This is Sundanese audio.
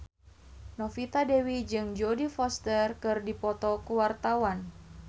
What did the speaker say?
Novita Dewi jeung Jodie Foster keur dipoto ku wartawan